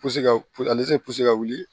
ale tɛ ka wuli